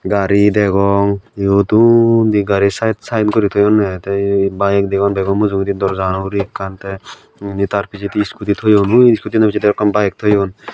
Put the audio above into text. gari degong eyod undi gari side side gori toyonne bike degong bago mujunyedi door jano hure ekkan te inni tar pijedi iskuti toyone ui iskuti gano pijedi aro ekkan bike toyon.